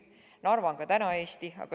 Narva on ka praegu Eesti.